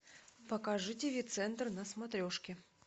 покажи тв центр на смотрешке